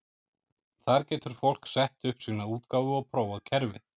Þar getur fólk sett upp sína útgáfu og prófað kerfið.